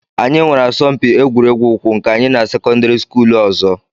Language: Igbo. Anyị nwere asọmpi egwuregwu ụkwụ nke anyị na sekọndịrị skuulu ọzọ